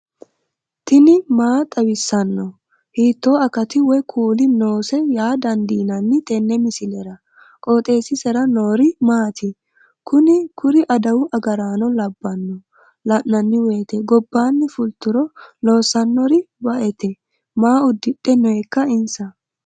tini maa xawissanno ? hiitto akati woy kuuli noose yaa dandiinanni tenne misilera? qooxeessisera noori maati? kuni kuri adawu agaraano labbanno la'nanni woyte gobbaanni fulturo loossannori baaete maa uddidhe nooika insa